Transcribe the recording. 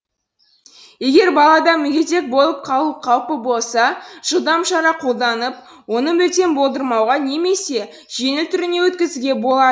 егер балада мүгедек болып қалу қаупі болса жылдам шара қолданып оны мүлдем болдырмауға немесе жеңіл түріне өткізуге болады